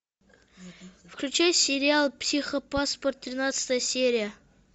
включай сериал психопаспорт тринадцатая серия